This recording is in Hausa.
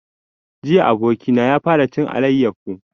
Jiya abokina ya fara cin alayyafo